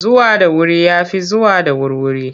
Zuwa da wuri ya fi zuwa da wurwuri.